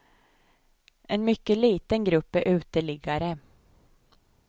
En mycket liten grupp är uteliggare.